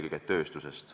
Aitäh!